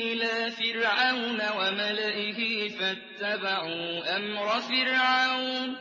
إِلَىٰ فِرْعَوْنَ وَمَلَئِهِ فَاتَّبَعُوا أَمْرَ فِرْعَوْنَ ۖ